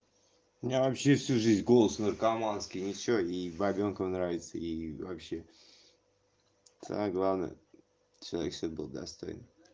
у меня вообще всю жизнь голос наркоманский и ничего и бабёнкам нравится и вообще самое главное человек чтобы был достойный